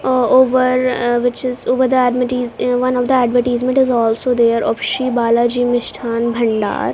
uh over uh which is over the admities eh one of the advertisement is also there of shri balaji mishthan bhandar.